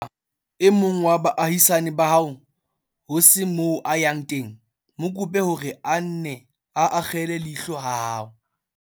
Haeba e mong wa baahisane ba hao ho se moo a yang teng, mo kope hore a nne a akgele leihlo ha hao.